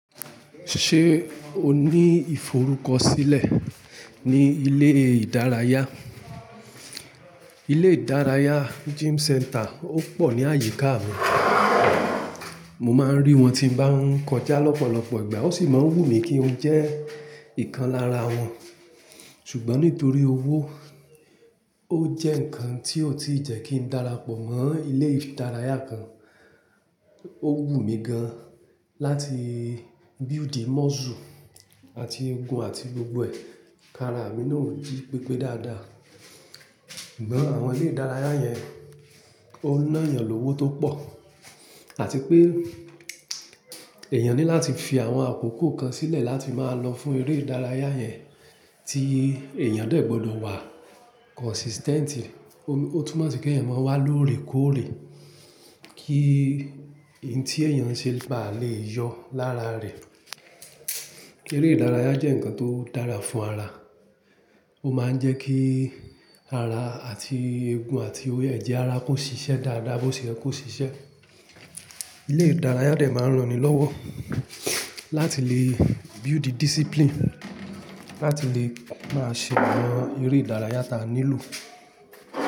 Ṣé o ní ìforúkọ sílẹ̀ ní ilé ìdárayá? Ilé ìdárayá, gym center, ó pọ̀ ní àyíká mi. Mo máa ń rí wọn tí ń bá ń kọjá lọ́pọ̀lọpọ̀ ìgbà. Wọ́n sì máa ń wù mí kí n jẹ́ ìkan lára wọn. Ṣùgbọ́n nítorí owó ó jẹ́ nǹkan tí ò tíì jẹ́ kí darapọ̀ mọ́ ilé ìdárayá kan. Ó wù mí gan-an láti build muscle àti egun àti gbogbo ẹ̀ kí ara mi na ó jí pépé dáadáa. Ṣùgbọ́n, àwọn ilé ìdárayá yẹn, ó ná èèyàn lówó tó pọ̀, àti pé, èèyàn ní láti fi àwọn àkókò kan sílẹ̀ láti máa lọ fún eré ìdárayá yẹn tí èèyàn dé gbọdọ̀ wà consistent. Ó tún mò sì kí ẹ̀yàn máa wá lóòrè kóòrè kí ohun tí èèyàn ń ṣe bá lè yọ lára rẹ̀. Kí eré ìdárayá jẹ́ nǹkan tó dára fún ara. Ó máa ń jẹ́ kí ara àti eegun àti ẹ̀jẹ̀ ara kò ṣiṣẹ́ dáadáa, bí ó ti yẹ kí ó ṣiṣẹ́. Ilé ìdárayá dẹ̀ máa ń ran ni lọ́wọ́ láti lè build discipline, láti lè máa ṣe àwọn eré ìdárayá tí a nílò.